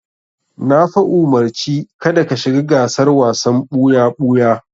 Na fa umurci ka da ka shiga gasar wasan ɓuya-ɓuya!